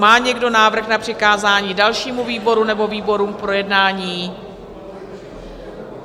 Má někdo návrh na přikázání dalšímu výboru nebo výborům k projednání?